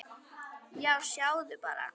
Já, sjáðu bara!